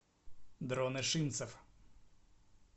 дрон ишимцев